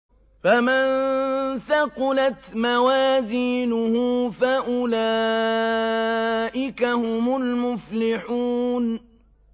فَمَن ثَقُلَتْ مَوَازِينُهُ فَأُولَٰئِكَ هُمُ الْمُفْلِحُونَ